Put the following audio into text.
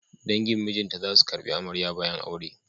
Dangin mijinta za su ƙarbi amarya bayan aure.